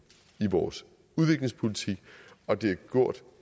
i vores udviklingspolitik og det er gjort